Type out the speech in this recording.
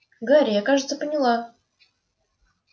гарри я кажется поняла